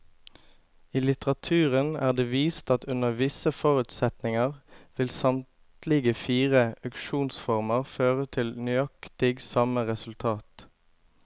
I litteraturen er det vist at under visse forutsetninger vil samtlige fire auksjonsformer føre til nøyaktig samme resultat.